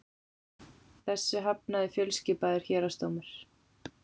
Þessu hafnaði fjölskipaður héraðsdómur